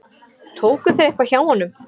Tóku þeir eitthvað hjá honum?